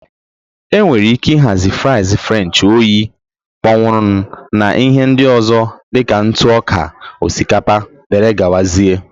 Enwere ike ịhazi fries french oyi kpọnwụrụ na ihe ndị ọzọ dị ka ntụ ọka osikapa, dere gawa zie.